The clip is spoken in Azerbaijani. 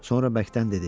Sonra bərkdən dedi: